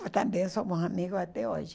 Também somos amigos até hoje.